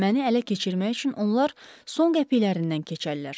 Məni ələ keçirmək üçün onlar son qəpiklərindən keçərlər.